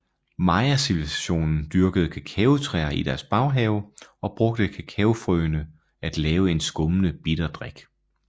Mayacivilisationen dyrkede kakaotræer i deres baghave og brugte kakaofrøene at lave en skummende bitter drik